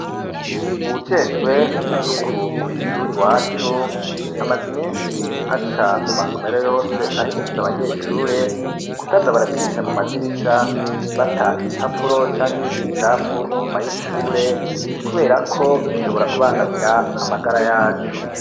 Uwujejwe isuku kw' ishur' iwacu, amaz' iminsi aca mu masomero yose ahimiriz' abanyeshure kutaza baracisha mu madirisha bata ibipapuro canke ibindi bicapfu inyuma y'ishure, kuberako bishobora kubangamira amagara yacu